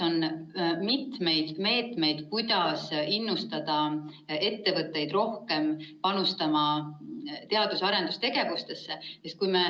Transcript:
On mitu meedet, kuidas innustada ettevõtteid rohkem panustama teadus‑ ja arendustegevusesse.